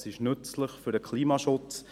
Es ist nützlich für den Klimaschutz.